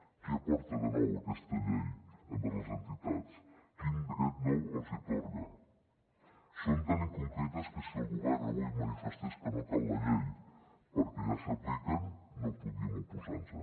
què aporta de nou aquesta llei envers les entitats quin dret nou els hi atorga són tan inconcretes que si el govern avui manifestés que no cal la llei perquè ja s’apliquen no podríem oposar nos hi